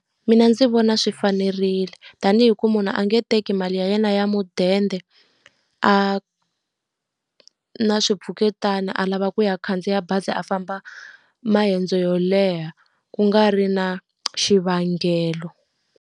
Mina ndzi vona swi fanerile. Tanihi ku munhu a nge teki mali ya yena ya mudende a na swi pfuketana a lava ku ya khandziya bazi a famba mayendzo yo leha, ku nga ri na xivangelo.